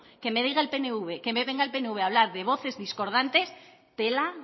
que me diga el pnv que me venga el pnv a hablar de voces discordantes tela